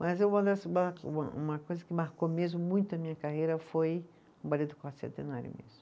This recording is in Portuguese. Mas uma das, uma coisa que marcou mesmo muito a minha carreira foi o balê do Quarto Centenário mesmo.